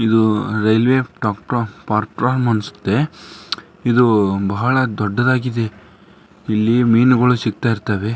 ಇದು ರೈಲ್ವೆ ಇದು ಬಹಳ ದೊಡ್ಡದಾಗಿದೆ ಇಲ್ಲಿ ಮೀನುಗಳು ಸಿಗ್ತಾ ಇರ್ತವೆ.